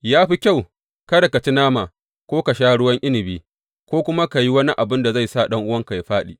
Ya fi kyau kada ka ci nama ko ka sha ruwan inabi ko kuma ka yi wani abin da zai sa ɗan’uwanka yă fāɗi.